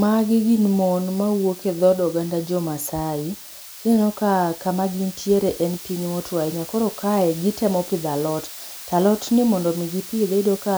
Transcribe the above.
Magi gin mon mawuok e dhod oganda jo maasai, tineno ka kama gintiere en piny motuo ahinya, koro kae gitemo pidho alot, to alot ni mondo mi gipidhe iyudo ka